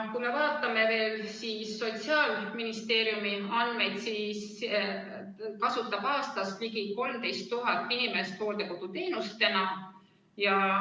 Kui me vaatame veel Sotsiaalministeeriumi andmeid, siis aastas kasutab hooldekoduteenust ligi 13 000 inimest.